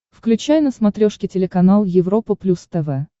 включай на смотрешке телеканал европа плюс тв